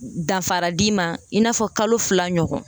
danfara d'i ma i n'a fɔ kalo fila ɲɔgɔn